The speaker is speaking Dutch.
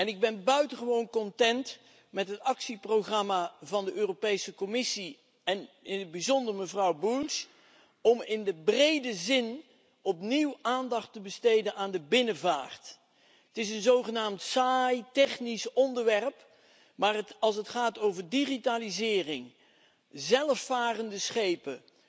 Ik ben buitengewoon tevreden met het actieprogramma van de Europese Commissie, en in het bijzonder mevrouw Bulc, om in de brede zin opnieuw aandacht te besteden aan de binnenvaart. Het is zogenaamd een saai, technisch onderwerp. Maar als het gaat over digitalisering, zelfvarende schepen